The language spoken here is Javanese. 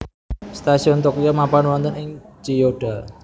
Stasiun Tokyo mapan wonten ing Chiyoda